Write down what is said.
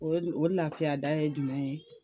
O o lafiyada ye jumɛn ye